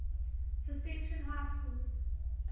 suspension high school